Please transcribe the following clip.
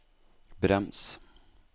brems